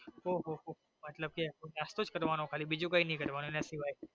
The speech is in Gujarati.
ઓહોહો મતલબ કે નાસ્તો જ કરવાનો ખાલી બીજું કઈ નાઈ કરવાનું એના સિવાય.